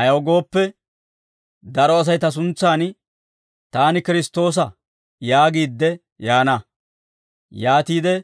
Ayaw gooppe, daro Asay ta suntsaan, ‹Taani Kiristtoosa› yaagiidde yaana; yaatiide